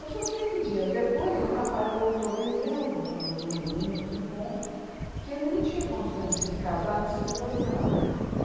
Eu só sei que dias depois o rapaz voltou dizendo, fa num num dos encontros, que ele não tinha condições de se casar antes de dois anos.